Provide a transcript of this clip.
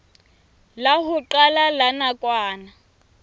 la ho qala la nakwana